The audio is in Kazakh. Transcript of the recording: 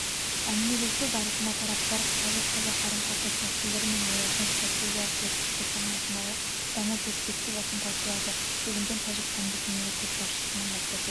әңгімелесу барысында тараптар тәжік-қазақ қарым-қатынас мәселелері мен олардың стратегиялық серіктестік форматындағы даму перспективасын талқылады делінген тәжікстандық мемлекет басшысының баспасөз